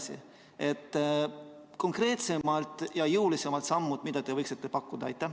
Milliseid konkreetsemaid ja jõulisemaid samme te võiksite pakkuda?